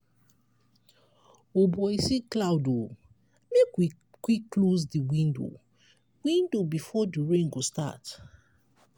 o boy see cloud o! make we quick close di window window before di rain go start!